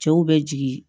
Cɛw bɛ jigin